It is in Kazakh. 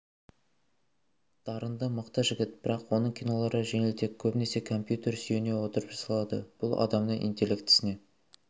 дарынды мықты жігіт бірақ оның кинолары жеңілтек көбінесе компьютерге сүйене отырып жасалады бұл адамның интеллектісіне